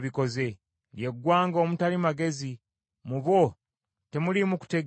Lye ggwanga omutali magezi, mu bo temuliimu kutegeera.